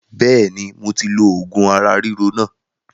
Bẹ́ẹ̀ni moti lo oògùn ara ríro náà